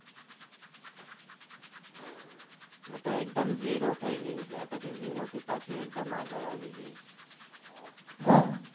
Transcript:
એ તો એકદમ ઝીરો થઇ ગઈ ને પછી ઝીરો થી પછી એકદમ આગળ આવી ગઈ હા